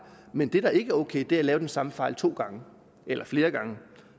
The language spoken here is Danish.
men det der ikke er ok er at lave den samme fejl to gange eller flere gange